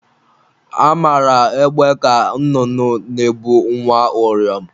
Amara egbe ka nnụnụ na-ebu nwa uriom.